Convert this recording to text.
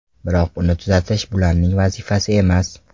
Biroq uni tuzatish ularning vazifasi emas.